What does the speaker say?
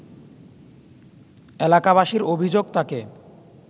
এলাকাবাসীর অভিযোগ তাকে